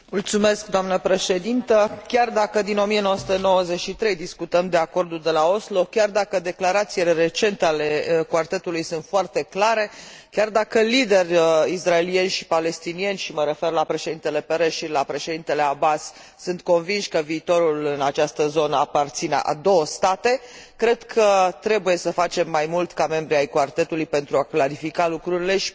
Chiar dacă, din 1993, discutăm de Acordul de la Oslo, chiar dacă declarațiile recente ale quartetului sunt foarte clare, chiar dacă liderii israelieni și palestinieni și mă refer la președintele Peres și la președintele Abbas sunt convinși că viitorul în această zonă aparține celor două state, cred că trebuie să facem mai mult ca membri ai quartetului pentru a clarifica lucrurile și pentru a determina părțile